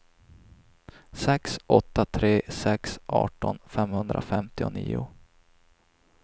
sex åtta tre sex arton femhundrafemtionio